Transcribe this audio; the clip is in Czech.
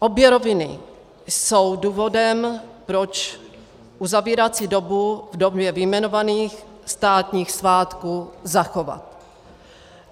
Obě roviny jsou důvodem, proč uzavírací dobu v době vyjmenovaných státních svátků zachovat.